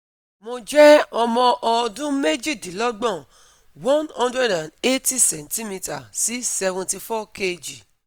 Mo jẹ ọmọ ọdun méjìdínlọ́gbọ̀n one hundred and eighty centimetre sí seventy four kg